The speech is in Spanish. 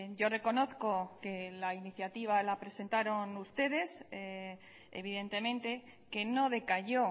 yo reconozco que la iniciativa la presentaron ustedes evidentemente que no decayó